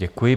Děkuji.